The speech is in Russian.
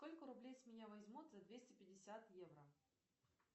сколько рублей с меня возьмут за двести пятьдесят евро